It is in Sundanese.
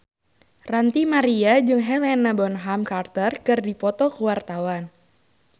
Ranty Maria jeung Helena Bonham Carter keur dipoto ku wartawan